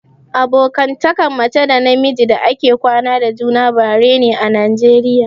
Abokantakan mace da na miji da ake kwana da juna bare ne a najeriya